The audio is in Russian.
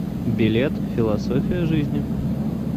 билет философия жизни